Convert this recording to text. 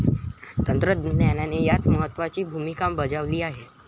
तंत्रज्ञानाने यात महत्वाची भूमिका बजावली आहे.